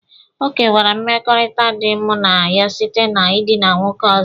Ọ kewara mmekọrịta dị mụ na ya site na ịdịna nwoke ọzọ.